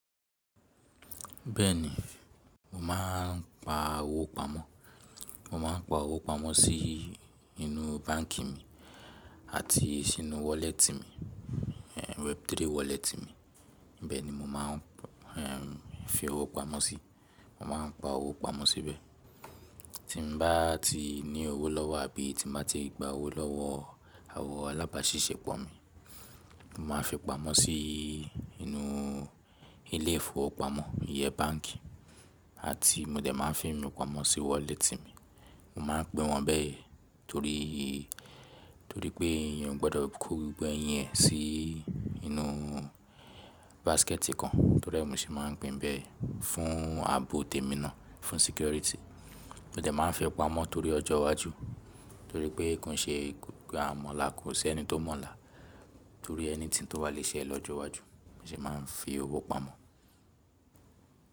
Bẹ́ẹ̀ni, mo máa n pa owó pamọ́. Mo máa n pa owó pamọ́ sí inú báǹkì mi àti sínú wọ́lẹ́tì mi, Web3 wallet mi. Bẹ́ẹ̀ ni mo máa n fi owó pamọ́ síi. Mo ma n pa owó pamọ́ síbẹ̀. Tí n bá ti ní owó lọ́wọ́ àbí tí n bá ti gba owó lọ́wọ́ àwọn alábàáṣiṣẹ́ pọ̀ mi, mo máa fi pamọ́ sí inú ilé ìfowópamọ́, ìyẹ́ báǹkì àti mo dẹ̀ máa n fi min pamọ́ sí wọ́lẹ́tì mi. Mo ma n pin wọn bẹ́ẹ̀ torí, torí pé èèyàn ò gbọdọ̀ kó gbogbo ẹyín rẹ sí inú báskẹ́ẹ̀tì kan. Torí è mo se máa n pin bẹ́ẹ̀ fún ààbò tèmi náà, fún sẹcúrìty. Mo dẹ̀ máa n fi pamọ́ torí ọjọ́ iwájú, torí pé kon n ṣe àmọ̀là ko sí ẹni tó mọ̀lá torí ẹni tí n tó bá lè ṣẹ lọ́jọ́ iwájú. Mo sì máa n fi owó pamọ́.